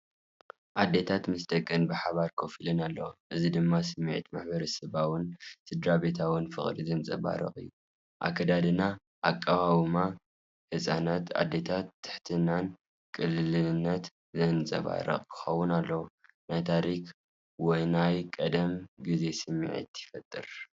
ኣዴታት ምስ ደቀን ብሓባር ኮፍ ኢለን ኣለዋ። እዚ ድማ ስምዒት ማሕበረሰባውን ስድራቤታውን ፍቕሪ ዘንጸባርቕ እዩ። ኣከዳድናን ኣቃውማን ህጻናትን ኣዴታትን ትሕትናን ቅልልነትን ዘንጸባርቕ ክኸውን ከሎ፡ ናይ ታሪኽ ወይ ናይ ቀደም ግዜ ስምዒት ይፈጥር።